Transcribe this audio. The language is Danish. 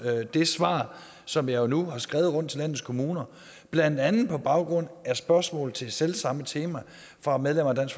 det svar som jeg nu har skrevet rundt til landets kommuner blandt andet på baggrund af spørgsmål til selv samme tema fra medlemmer af